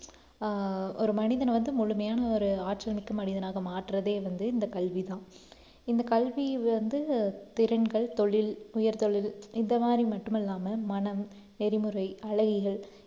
ஆஹ் ஒரு மனிதனை வந்து முழுமையான ஒரு ஆற்றல் மிக்க மனிதனாக மாற்றுவதே வந்து இந்த கல்விதான். இந்த கல்வி வந்து திறன்கள், தொழில், உயர் தொழில் இந்த மாதிரி மட்டுமில்லாம மனம், நெறிமுறை,